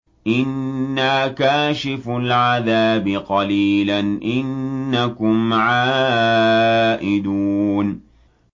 إِنَّا كَاشِفُو الْعَذَابِ قَلِيلًا ۚ إِنَّكُمْ عَائِدُونَ